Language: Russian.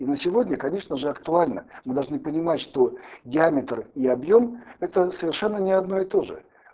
и на сегодня конечно же актуально мы должны понимать что диаметр и объём это совершенно не одно и то же